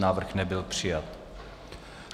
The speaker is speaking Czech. Návrh nebyl přijat.